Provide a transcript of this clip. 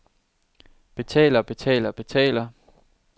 betaler betaler betaler